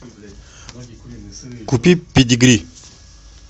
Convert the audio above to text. купи педигри